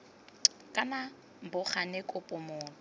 kana bo gane kopo motho